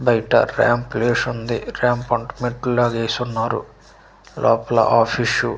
బయట ర్యాంపు వేసి ఉంది ర్యాంపు లాగా వేసి ఉన్నారు లోపల ఆఫీస్ --